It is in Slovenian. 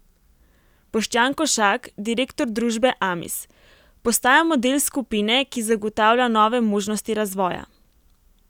Boštjan Košak, direktor družbe Amis: 'Postajamo del skupine, ki zagotavlja nove možnosti razvoja.